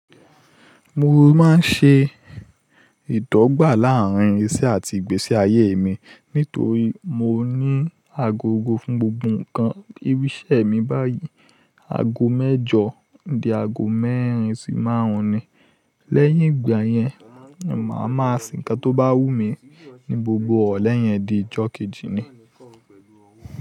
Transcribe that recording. Mo máa ń ṣe ìdọ́gba láàrín iriṣí àti ìgbésí ayé mi nítorí mo ní agogó fún gbogbo nǹkan. Ibi iṣẹ́ mi báyìí ago mẹ́jọ, di ago mẹ́rin sì márùn-ún ni. Lẹ́yìn ìgbà yẹn, máa ma se ǹkan tó bá wù mí ní gbogbo ìrọ̀lẹ yẹn di ọjọ́ kejì ni.